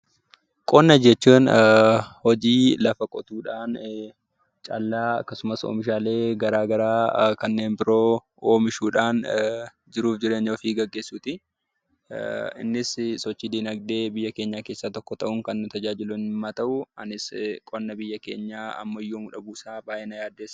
Qonna jechuun hojii lafa qotudhan callaa akkasumas, oomishaalee garaagaraa kanneen biroo oomishuudhan jiruuf jireenya of geggeessuti. innis sochii dinagde biyya keenya keessa tokko ta'u, kan nu tajaajilu yemma ta'u, anis qonna biyya keenya ammayyoomu dhabu isa baay'ee na yaaddeessa.